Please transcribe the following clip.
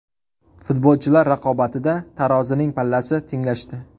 Futbolchilar raqobatida tarozining pallasi tenglashdi.